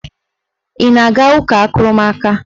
Ị na-aga ụka akụrụmaka?